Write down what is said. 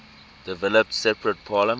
developed separate parliaments